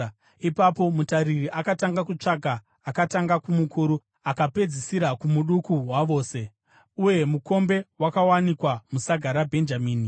Ipapo mutariri akatanga kutsvaka, akatanga kumukuru akapedzisira kumuduku wavose. Uye mukombe wakawanikwa musaga raBhenjamini.